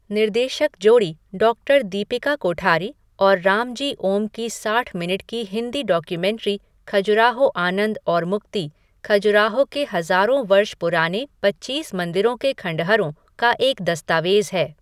निर्देशक जोड़ी डॉक्टर दीपिका कोठारी और रामजी ओम की साठ मिनट की हिंदी डॉक्यूमेंट्री खजुराहो आनंद और मुक्ति, खजुराहो के हज़ारों वर्ष पुराने पच्चीस मंदिरों के खंडहरों का एक दस्तावेज़ है।